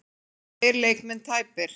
Tveir leikmenn tæpir